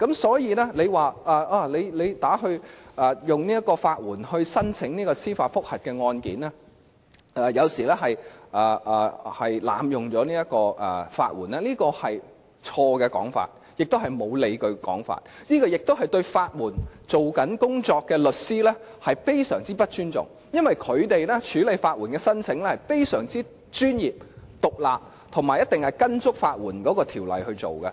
所以，如果說向法援申請提出司法覆核案件有時是濫用法援，這是錯誤的說法，也是欠缺理據的說法，更是對正在處理法援案件的律師極不尊重，因為他們是非常專業和獨立地處理法援申請，以及必定依足法援條例行事。